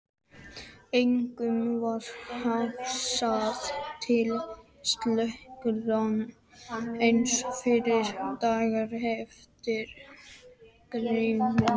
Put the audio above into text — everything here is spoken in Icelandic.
Engum varð hugsað til slíkrar reisu fyrren daginn eftir giftinguna.